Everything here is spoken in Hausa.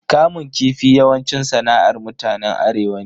Kamun kifi yawanci sana'ar mutanen arewa ne.